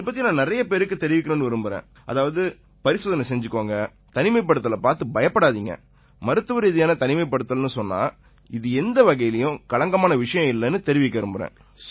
இதுபத்தி நான் நிறைய பேருக்குத் தெரிவிக்கணும்னு விரும்பறேன் அதாவது பரிசோதனை செஞ்சுக்குங்க தனிமைப்படுத்தலைப் பார்த்து பயப்படாதீங்க மருத்துவரீதியான தனிமைப்படுத்தல்னு சொன்னா இது எந்த வகையிலயும் களங்கமான விஷயம் இல்லைன்னு தெரிவிக்க விரும்பறேன்